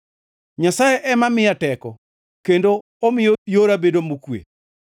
Nyasaye ema miya teko kendo omiyo yora bedo mokwe.